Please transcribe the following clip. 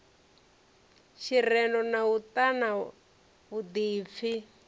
tshirendo na u ṱana vhuḓipfi